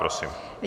Prosím.